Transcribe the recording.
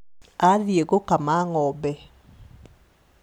Athiĩ gũkama ng'ombe